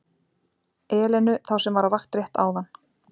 Elenu, þá sem var á vakt rétt áðan.